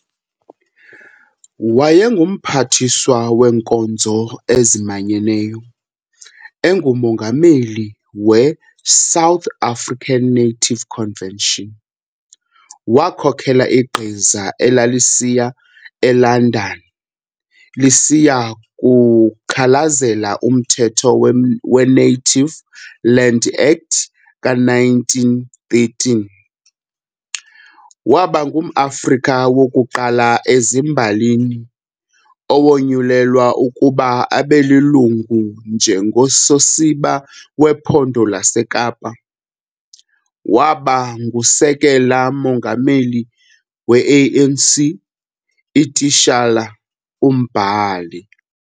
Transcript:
WayenguMphathiswa weenkonzo ezimanyeneyo, enguMongameli we- 'South African Native Convention', wakhokhela igqiza elalisiya e-London lisiya kukhalazela umthetho we- Native Land Act ka-1913, waba ngumAfrika wokuqala ezimbalini owonyulelwa ukuba abelilungu njengososiba wePhondo laseKapa, waba ngusekela Mongameli we-ANC, ititshala, umbhali.